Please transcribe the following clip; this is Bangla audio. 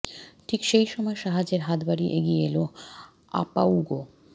ঠিক সেই সময় সাহায্যের হাত বাড়িয়ে এগিয়ে এল আপউগো